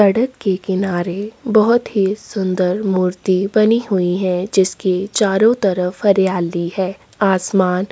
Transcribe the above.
सड़क के किनारे बहोत ही सूंदर मूर्ति बनी हुई है जिसके चारो तरफ हरियाली हैं आसमान--